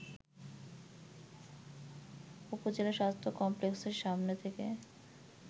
উপজেলা স্বাস্থ্য কমপ্লেক্সের সামনে থেকে